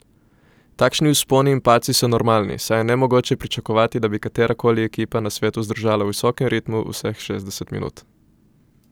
Takšni vzponi in padci so normalni, saj je nemogoče pričakovati, da bi katera koli ekipa na svetu zdržala v visokem ritmu vseh šestdeset minut.